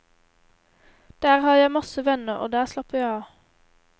Der har jeg masse venner, og der slapper jeg av.